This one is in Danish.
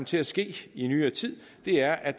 til at ske i nyere tid er at